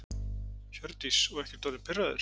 Hjördís: Og ekkert orðinn pirraður?